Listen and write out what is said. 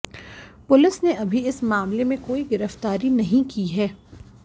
police ने अभी इस मामले में कोई गिरफ्तारी नहीं की है